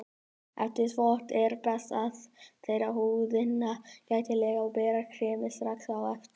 Eftir þvott er best að þerra húðina gætilega og bera kremið strax á eftir.